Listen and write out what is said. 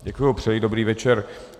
Děkuji, přeji dobrý večer.